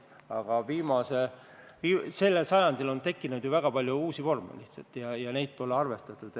Aga sel sajandil on tekkinud ka väga palju uusi vorme ja nendega pole arvestatud.